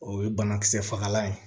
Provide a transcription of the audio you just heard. O ye banakisɛ fagalan ye